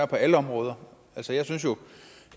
på alle områder jeg synes jo